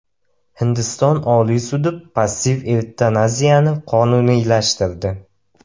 Hindiston Oliy sudi passiv evtanaziyani qonuniylashtirdi.